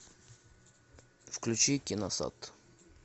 включи киносад